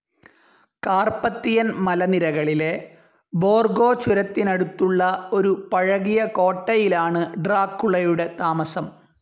Carpathian മലനിരകളിലെ ബോർഗോ ചുരത്തിനടുത്തുള്ള ഒരു പഴകിയ കോട്ടയിലാണ് ഡ്രാക്കുളയുടെ താമസം.